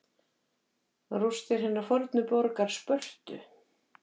Rústir hinnar fornu borgar Spörtu.